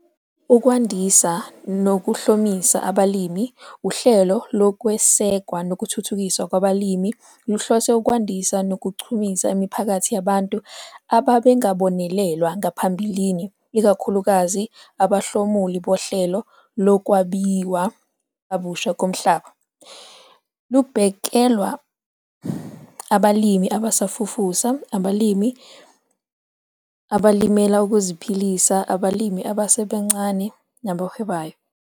Ukwandisa Nokuhlomisa AbalimiUhlelo Lokwesekwa Nokuthuthukiswa Kwabalimi luhlose ukwandisa nokuchumisa imiphakathi yabantu ababengabonelelwa ngaphambilini, ikakhulukazi abahlomuli bohlelo Lokwabiwa Kabusha Komhlaba. Lubhekelwa abalimi abasafufusa, abalimi abalimela ukuziphilisa, abalimi abasebancane nabahwebayo.